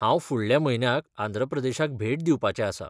हांव फुडल्या म्हयन्याक आंध्र प्रदेशाक भेट दिवपाचें आसां.